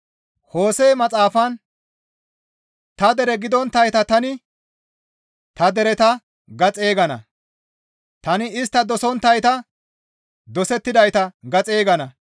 Hose7e maxaafan, «Ta dere gidonttayta tani, ‹Ta dereta› ga xeygana; tani istta dosettonttayta, ‹Dosettidayta› ga xeygana.